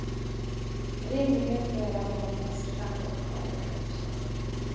Rimligen bör han ha minst fem år kvar i aktiv tjänst.